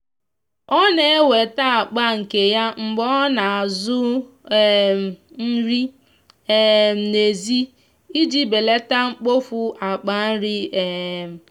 ọ na weta akpa nke ya mgbe ona azụ um nri um na ezi iji beleta mkpofu akpa nri um.